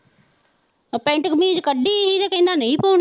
ਉਹ ਪੈਂਟ ਕਮੀਜ ਕੱਢੀ ਹੀ ਤੇ ਕਹਿੰਦਾ ਨਹੀਂ ਪਾਉਣੀ।